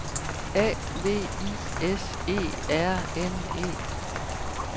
A V I S E R N E